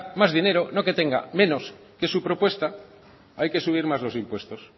más dinero no que tenga menos que es su propuesta hay que subir más los impuestos